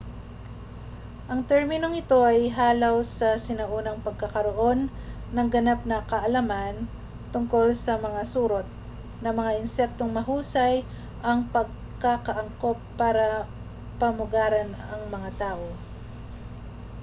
ang terminong ito ay halaw sa sinaunang pagkakaroon ng ganap na kaalaman tungkol sa mga surot na mga insektong mahusay ang pagkakaangkop para pamugaran ang mga tao